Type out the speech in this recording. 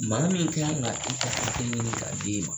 Maa min ka kan ka i ka hakɛ ɲini k'a d'e ma